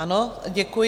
Ano, děkuji.